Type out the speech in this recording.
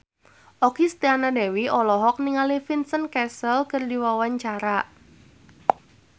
Okky Setiana Dewi olohok ningali Vincent Cassel keur diwawancara